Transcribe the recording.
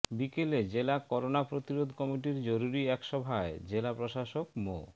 বিকেলে জেলা করোনাপ্রতিরোধ কমিটির জরুরি একসভায় জেলা প্রশাসক মো